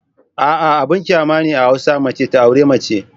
A'a! Abin kyama ne a hausa mace ta auri mace.